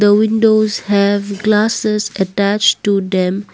The windows have glasses attached to them.